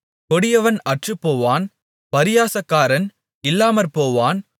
கொடியவன் அற்றுப்போவான் பரியாசக்காரன் இல்லாமற்போவான்